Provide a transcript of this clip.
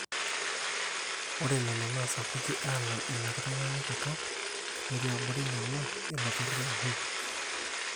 ore nena naa sapuki alangu ina kitanyanyukoto netii abori nena ilo turrur le WHO